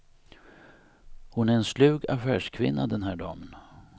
Hon är en slug affärskvinna, den här damen.